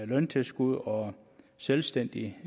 løntilskud og selvstændig